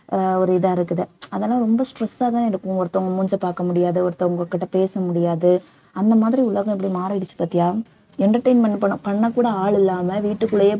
அஹ் ஒரு இதா இருக்குது அதெல்லாம் ரொம்ப stress ஆ தான் இருக்கும் ஒருத்தவங்க மூஞ்சியை பாக்க முடியாது ஒருத்தவங்ககிட்ட பேச முடியாது அந்த மாதிரி உலகம் எப்படி மாறிடுச்சு பார்த்தியா entertainment பண்~ பண்ண கூட ஆள் இல்லாம வீட்டுக்குள்ளேயே